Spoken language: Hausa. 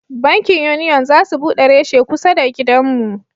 Bankin Union za su bude reshe kusa da gidan mu